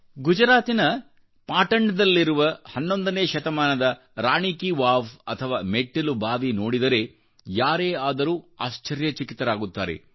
ಗುಜರಾತಿನ ಪಾಟಣ್ ದಲ್ಲಿರುವ 11ನೇ ಶತಮಾನದ ರಾಣಿ ಕೀ ವಾವ್ ಅಥವಾ ಮೆಟ್ಟಿಲು ಬಾವಿ ನೋಡಿದರೆ ಯಾರೇ ಆದರೂಆಶ್ಚರ್ಯಚಕಿತರಾಗುತ್ತಾರೆ